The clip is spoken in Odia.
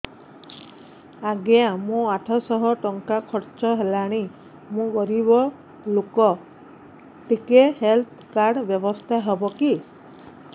ଆଜ୍ଞା ମୋ ଆଠ ସହ ଟଙ୍କା ଖର୍ଚ୍ଚ ହେଲାଣି ମୁଁ ଗରିବ ଲୁକ ଟିକେ ହେଲ୍ଥ କାର୍ଡ ବ୍ୟବସ୍ଥା ହବ କି